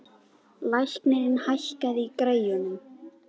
Leiknir, hækkaðu í græjunum.